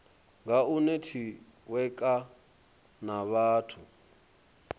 nga u netiweka na vhathu